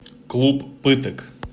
клуб пыток